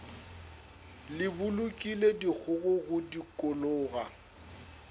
le bolokile dikgogo go dikologa